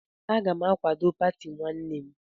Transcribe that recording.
Agam akwado pati nwannem